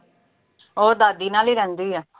ਉਹ ਦਾਦੀ ਨਾਲ ਈ ਰਹਿੰਦੀ ਆ।